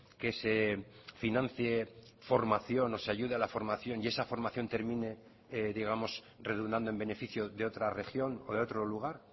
que se financie formación o se ayude a la formación y esa formación termine digamos redundando en beneficio de otra región o de otro lugar